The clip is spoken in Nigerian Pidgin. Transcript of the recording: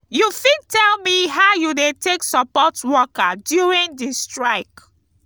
you fit tell me how you dey take support worker during di strike?